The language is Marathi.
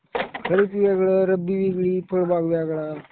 खरीप वेगळं, रब्बी वेगळी, फळबाग वेगळा.